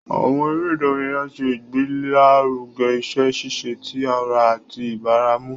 Àwọn eré ìdárayá ṣe ìgbélaruge iṣẹ ṣiṣe tí ará àti ìbaràmú.